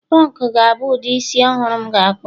punk ga-abụ ụdị isi ọhụrụ m ga-akpụ